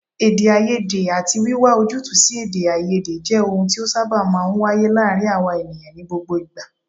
Èdèàìyedè àti wíwá ojútùú sí èdèàìyedè jẹ́ ohun tí ó sábà máa ń wáyé láàárín àwa ènìyàn ní gbogbo ìgbà